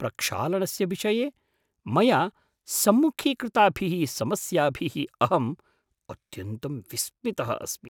प्रक्षालनस्य विषये मया सम्मुखीकृताभिः समस्याभिः अहं अत्यन्तं विस्मितः अस्मि।